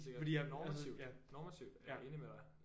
Fordi at ja ja